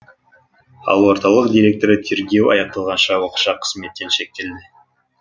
ал орталық директоры тергеу аяқталғанша уақытша қызметтен шектелді